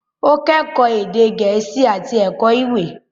Ó kẹ́kọ̀ọ́ èdè Gẹ̀ẹ́sì àti Ẹ̀kọ́ Ìwé.